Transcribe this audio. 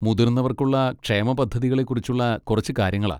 മുതിർന്നവർക്കുള്ള ക്ഷേമ പദ്ധതികളെക്കുറിച്ചുള്ള കുറച്ച് കാര്യങ്ങളാ.